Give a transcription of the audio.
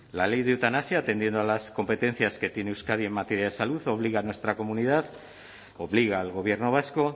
la ley de eutanasia atendiendo a las competencias que tiene euskadi en materia de salud obliga a nuestra comunidad obliga al gobierno vasco